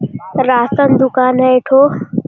ration दुकान है एकठो --